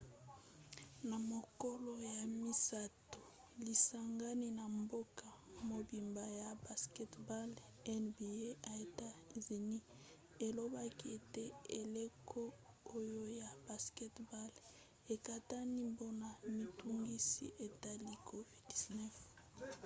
na mokolo ya misato lisangani ya mboka mobimba ya basketball nba ya etats-unis elobaki ete eleko oyo ya basket-ball ekatani mpona mitungisi etali covid-19